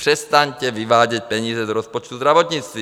Přestaňte vyvádět peníze z rozpočtu zdravotnictví.